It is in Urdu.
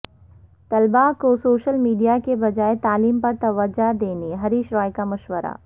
طلبہ کو سوشل میڈیا کے بجائے تعلیم پر توجہ دینے ہریش رائو کا مشورہ